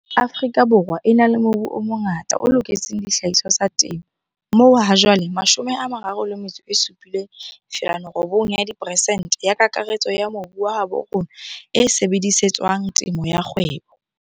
Afrika Borwa e na le mobu o mongata o loketseng dihlahiswa tsa temo, moo hajwale 37,9 peresente ya kakaretso ya mobu wa habo rona e sebedise tswang temo ya kgwebo.